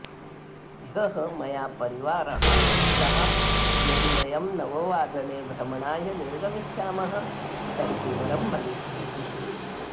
ह्यः मया परिवारः कथितः यदि वयं नववादने भ्रमणाय निर्गमिष्यामः तर्हि वरं भविष्यति